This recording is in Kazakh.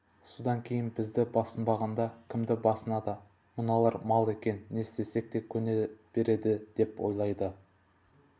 содан кейін бізді басынбағанда кімді басынады мыналар мал екен не істесек те көне береді деп ойлайды